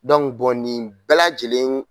bɔ nin bɛɛ lajɛlen